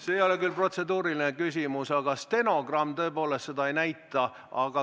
See ei ole küll protseduuriline küsimus, aga ma vastan, et stenogramm tõepoolest seda ei näita.